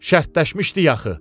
Şərtləşmişdik axı.